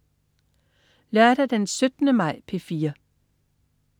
Lørdag den 17. maj - P4: